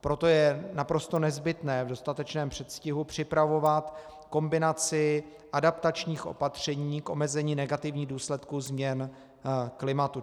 Proto je naprosto nezbytné v dostatečném předstihu připravovat kombinaci adaptačních opatření k omezení negativních důsledků změn klimatu.